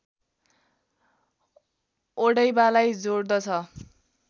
ओडैबालाई जोडद्छ